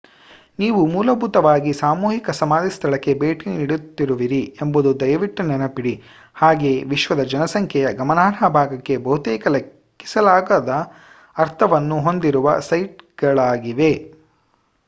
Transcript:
ನೀವು ಮೂಲಭೂತವಾಗಿ ಸಾಮೂಹಿಕ ಸಮಾಧಿ ಸ್ಥಳಕ್ಕೆ ಭೇಟಿ ನೀಡುತ್ತಿರುವಿರಿ ಎಂಬುದನ್ನು ದಯವಿಟ್ಟು ನೆನಪಿಡಿ ಹಾಗೆಯೇ ವಿಶ್ವದ ಜನಸಂಖ್ಯೆಯ ಗಮನಾರ್ಹ ಭಾಗಕ್ಕೆ ಬಹುತೇಕ ಲೆಕ್ಕಿಸಲಾಗದ ಅರ್ಥವನ್ನು ಹೊಂದಿರುವ ಸೈಟ್‌ಗಳಾಗಿವೆ